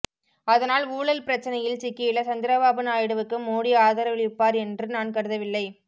அதனால் ஊழல் பிரச்சனையில் சிக்கியுள்ள சந்திரபாபு நாயுடுவுக்கு மோடி ஆதரவளிப்பார் என்று நான் கருதவில்லை